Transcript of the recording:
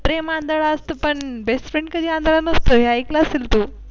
प्रेम आंधळ असतं पण Bestfriend कधीआंधळा नसतं हे ऐकलं असेल तु.